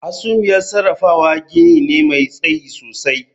Hasumiyar sarrafawa gini ne mai tsayi sosai